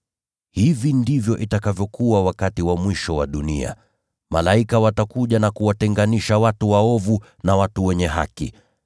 Hivi ndivyo itakavyokuwa wakati wa mwisho wa dunia. Malaika watakuja na kuwatenganisha watu waovu na watu wenye haki.